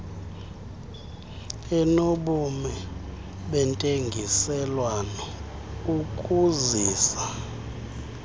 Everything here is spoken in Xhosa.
enobume bentengiselwano ukuzisa